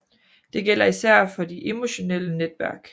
Det gælder især for de emotionelle netværk